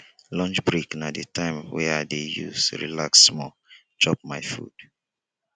lunch break na di time wey i dey use relax small chop my food